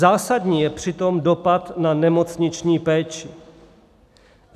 Zásadní je přitom dopad na nemocniční péči.